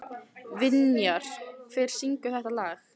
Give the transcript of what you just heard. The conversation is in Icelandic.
Vinjar, hver syngur þetta lag?